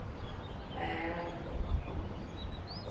Það er að koma!